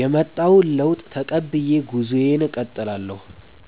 የመጣውን ለውጥ ተቀብዬ ጉዞዬን እቀጥላለሁ።